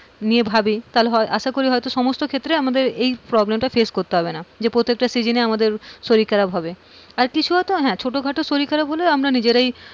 নিয়ে ভাবি তাহলে আশা করি হয়তো সমস্ত ক্ষেত্রে এই problem টা face করতে হবে না, যে প্রত্যেকটা season এ আমাদের শরীর খারাপ হবে, আর কিছু হয়তো ছোটোখাটো হ্যাঁ নিজেরাই,